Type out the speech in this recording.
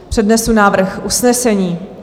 Přednesu návrh usnesení.